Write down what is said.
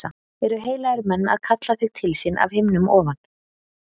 Eru heilagir menn að kalla þig til sín af himnum ofan?